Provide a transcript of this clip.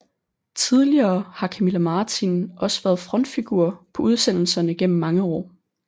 Tidligere har Camilla Martin også været frontfigur på udsendelserne gennem mange år